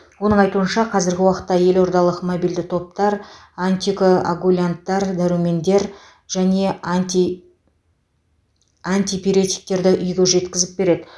оның айтуынша қазіргі уақытта елордалық мобильді топтар антикоагулянттар дәрумендер және анти антипиретиктерді үйге жеткізіп береді